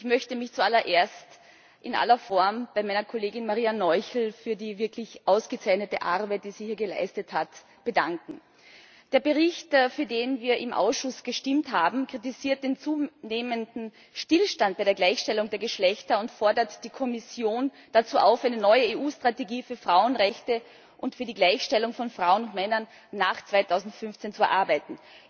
Ich möchte mich zu allererst in aller Form bei meiner Kollegin Maria Noichl für die wirklich ausgezeichnete Arbeit, die sie hier geleistet hat, bedanken. Der Bericht, für den wir im Ausschuss gestimmt haben, kritisiert den zunehmenden Stillstand bei der Gleichstellung der Geschlechter und fordert die Kommission dazu auf, eine neue EU Strategie für Frauenrechte und für die Gleichstellung von Frauen und Männern nach 2015 zu erarbeiten.